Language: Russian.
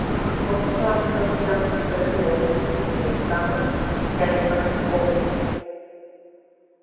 ах вот так совсем оскорбилась мамулька и стала стягивать кофточку